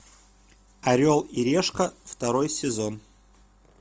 орел и решка второй сезон